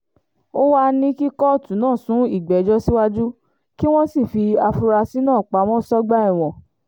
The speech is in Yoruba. ó wàá ní kí kóòtù náà sún ìgbẹ́jọ́ síwájú kí wọ́n sì fi àfúrásì náà pamọ́ sọ́gbà ẹ̀wọ̀n